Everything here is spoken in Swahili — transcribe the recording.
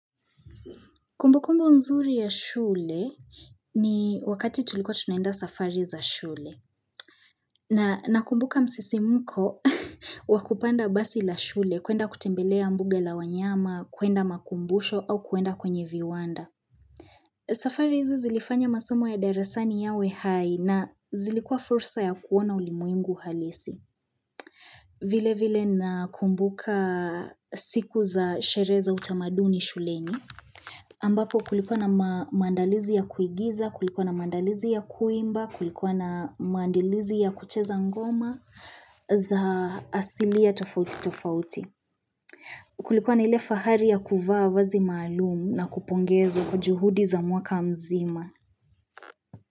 Kumbu kumbu nzuri ya shule ni wakati tulikua tunaenda safari za shule na nakumbuka msisimko wakupanda basi la shule kwenda kutembelea mbuga la wanyama kwenda makumbusho au keenda kwenye viwanda. Safari hizi zilifanya masomo ya derasani yawe hai na zilikuwa fursa ya kuona ulimwengu halisi. Vile vile nakumbuka siku za sherehe za utamaduni shuleni ambapo kulikuwa na maandalizi ya kuigiza, kulikuwa na maandalizi ya kuimba, kulikuwa na maandalizi ya kucheza ngoma za asilia tofauti tofauti. Kulikuwa na ile fahari ya kuvaa vazi maalumu na kupongezwa kwa juhudi za mwaka mzima.